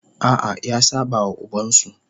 A'a, ya saba wa ubansa.